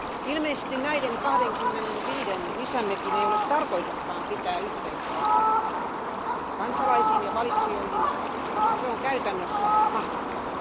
Ilmeisesti näiden 25 uuden parlamentin jäsenen ei ole tarkoituskaan pitää yhteyttä kansalaisiin ja valitsijoihin, koska se on käytännössä mahdotonta.